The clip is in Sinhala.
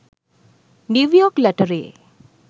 new york lottery